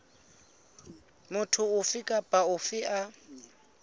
motho ofe kapa ofe a